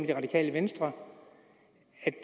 det radikale venstre